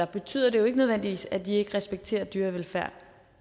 betyder det jo ikke nødvendigvis at de ikke respekterer dyrevelfærd